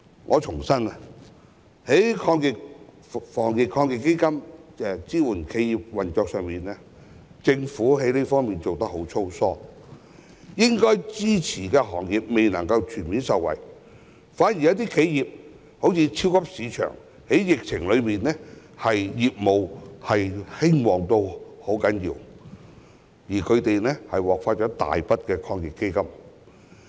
我重申，在防疫抗疫基金支援企業運作方面，政府真的做得很粗疏，應該支持的企業未能全面受惠，反而一些企業，例如超級市場，在疫情期間業務極為興旺，還獲發大筆抗疫基金。